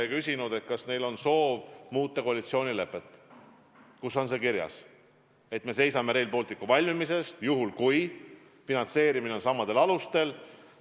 Ma küsisin, kas neil on soov muuta koalitsioonilepet, kus on kirjas, et me seisame Rail Balticu valmimise eest, juhul kui finantseerimine on samadel alustel.